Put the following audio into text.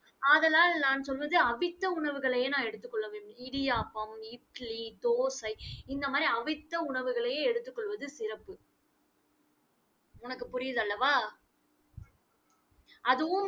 ஆதலால், நான் சொல்வது அவித்த உணவுகளையே நான் எடுத்துக் கொள்ள வேண்டும். இடியாப்பம், இட்லி, தோசை இந்த மாதிரி அவிச்ச உணவுகளையே எடுத்துக் கொள்வது சிறப்பு. உனக்கு புரியுதல்லவா அதுவும்